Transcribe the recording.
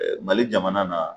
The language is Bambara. Ɛɛ Mali jamana na